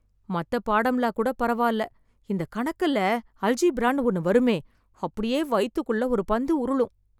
மத்த பாடம்லாம் கூட பரவால்ல, இந்த கணக்குல அல்ஜீப்ரான்னு ஒண்ணு வருமே, அப்படியே வயித்துக்குள்ள ஒரு பந்து உருளும்.